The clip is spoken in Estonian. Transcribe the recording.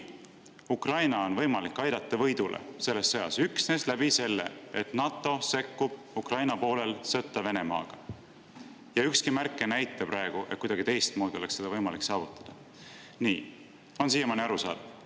Kui on võimalik aidata Ukraina selles sõjas võidule üksnes nii, et NATO sekkub Ukraina poolel sõtta Venemaaga, ükski märk ei näita praegu, et kuidagi teistmoodi oleks seda võimalik saavutada – nii, kas on siiamaani arusaadav?